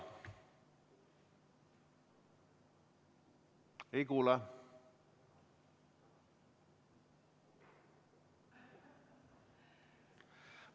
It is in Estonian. Ei kuule!